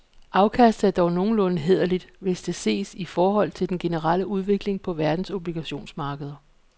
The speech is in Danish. Afkastet er dog nogenlunde hæderligt, hvis det ses i forhold til den generelle udvikling på verdens obligationsmarkeder.